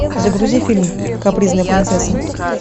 загрузи фильм капризная принцесса